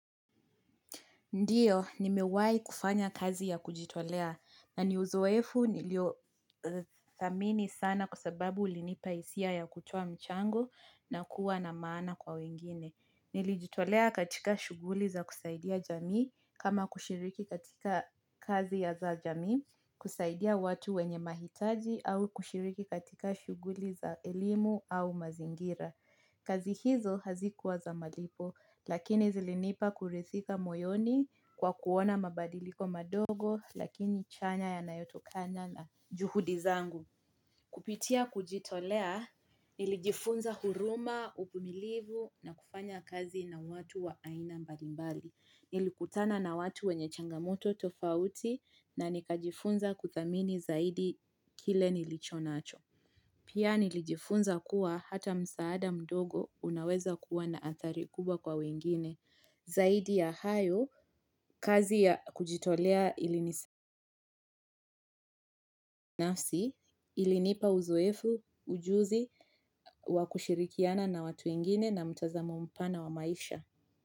Ndiyo, nimewai kufanya kazi ya kujitolea na ni uzoefu nilio thamini sana kwa sababu ulinipa hisia ya kutoa mchango na kuwa na maana kwa wengine. Nilijitolea katika shughuli za kusaidia jamii kama kushiriki katika kazi ya za jamii kusaidia watu wenye mahitaji au kushiriki katika shughuli za elimu au mazingira. Kazi hizo hazikuwa za malipo, lakini zilinipa kuridhika moyoni kwa kuona mabadiliko madogo, lakini chanya ya nayotokana na juhudizangu. Kupitia kujitolea, nilijifunza huruma, uvumilivu na kufanya kazi na watu wa aina mbalimbali. Nilikutana na watu wenye changamoto tofauti na nikajifunza kuthamini zaidi kile nilichonacho. Pia nilijifunza kuwa hata msaada mdogo unaweza kuwa naathari kubwa kwa wengine zaidi ya hayo kazi ya kujitolea ilini nafsi ilinipa uzoefu ujuzi wakushirikiana na watu wengine na mtazamo mpana wa maisha.